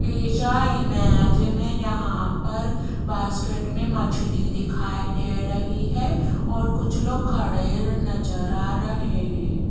ऐसा इमेज में यहां पर बास्केट में मछली दिखाई दे रही है और कुछ लोग खड़े नजर आ रहे हैं।